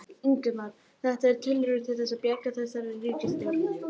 Ingimar: Er þetta þín tilraun til þess að bjarga þessari ríkisstjórn?